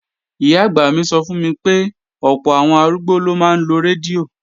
Ìyá-àgbà mi sọ fún mi pé, ọ̀pọ̀ àwọn arúgbó ló máa ń lo rédíò